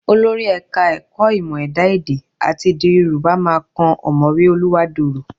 Olórí Ẹ̀ka-ẹ̀kọ́ Ìmọ̀ Ẹ̀dá èdẹ àti Èdè Yorùbá máa kan ọ̀mọ̀wé Oluwádorò